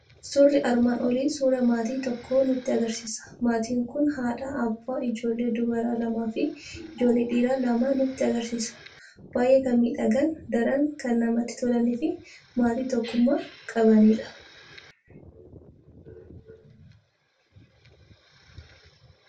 Suurri armaan olii suuraa maatii tokkoo nutti argisiisa. Maatiin kun haadha, abbaa, ijoollee dubaraa lamaa fi ijoollee dhiiraa lama nutti argisiisa. Baay'ee kan miidhagan, daran kan namatti tolanii fi maatii tokkummaa qabanidha.